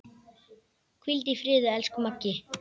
Hvíldu í friði, elsku Maggi.